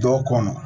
Dɔw kɔnɔ